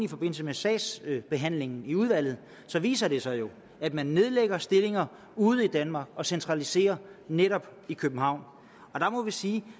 i forbindelse med sagsbehandlingen i udvalget viser det sig jo at man nedlægger stillinger ude i danmark og centraliserer netop i københavn der må vi sige